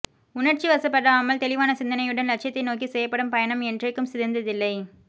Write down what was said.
உணர்ச்சிவசப்படாமல் தெளிவான சிந்தனையுடன் லட்சியத்தை நோக்கி செய்யப்படும் பயணம் என்றைக்கும் சிதைந்ததில்லை